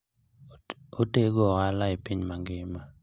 Otego ohala e piny mangima.